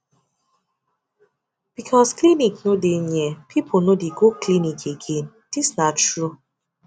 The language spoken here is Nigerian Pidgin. because clinic no dey near people no dey go clinic again this na true